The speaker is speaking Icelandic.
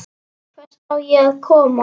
Hvert á ég að koma?